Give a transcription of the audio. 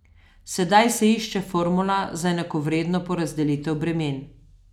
Sedaj se išče formula za enakovredno porazdelitev bremen.